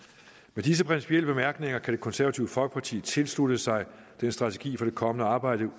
med disse principielle bemærkninger kan det konservative folkeparti tilslutte sig den strategi for det kommende arbejde